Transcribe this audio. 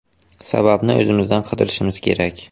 Sababni o‘zimizdan qidirishimiz kerak”.